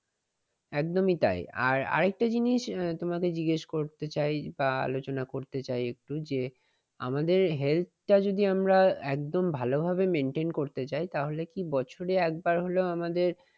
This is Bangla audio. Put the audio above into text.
একদমই তাই আর আরেকটা জিনিস তোমাকে জিজ্ঞেস করতে চাই বা আলোচনা করতে চাই একটু যে, আমাদের health টা যদি আমরা একদম ভালোভাবে maintain করতে চাই তাহলে কি বছরে একবার হলেও আমাদের